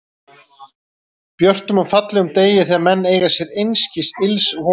björtum og fallegum degi, þegar menn eiga sér einskis ills von.